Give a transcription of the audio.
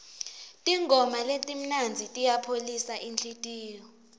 tingoma letimnandzi tiyayipholisa inhlitiyo